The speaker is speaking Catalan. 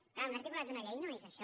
clar un articulat d’una llei no és això